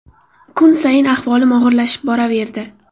Kun sayin ahvolim og‘irlashib boraverdi.